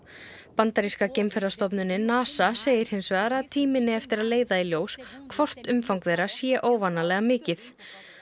bandaríska NASA segir hins vegar að tíminn eigi eftir að leiða í ljós hvort umfang þeirra sé óvanalega mikið